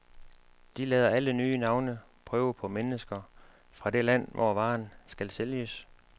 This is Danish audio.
De lader alle nye navne prøve på mennesker fra det land, hvor varen skal sælges.